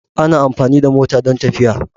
Ana amfani da mota don tafiya.